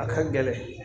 A ka gɛlɛn